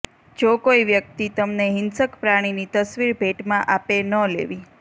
જો કોઇ વ્યક્તિ તમને હિંસક પ્રાણીની તસ્વીર ભેટમાં આપે ન લેવી